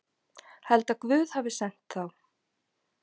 Held að Guð hafi sent þá.